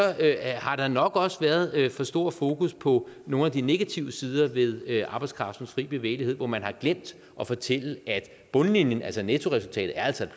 har der nok også været for stort fokus på nogle af de negative sider ved arbejdskraftens fri bevægelighed hvor man har glemt at fortælle at bundlinjen altså nettoresultatet altså